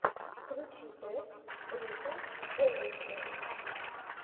включи трек рика эвендже